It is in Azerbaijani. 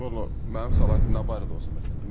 Vallah mənim səlahiyyətim nə barədə olsa məsələn?